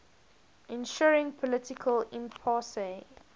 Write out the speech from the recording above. ensuing political impasse